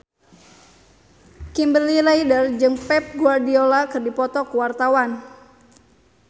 Kimberly Ryder jeung Pep Guardiola keur dipoto ku wartawan